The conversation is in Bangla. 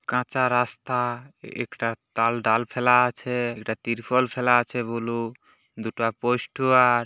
কাঁচা রাস্তা একটা তাল ডাল ফেলা আছে দুটো তির্পল ফেলা আছে ব্লু দুটো পোস্টোয়ার --।